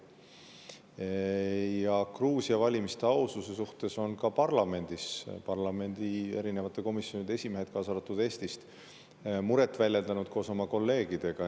Ja Gruusia valimiste aususe suhtes on ka parlamendi erinevate komisjonide esimehed, kaasa arvatud Eestist, muret väljendanud koos oma kolleegidega.